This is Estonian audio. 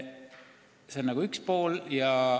See on küsimuse üks pool.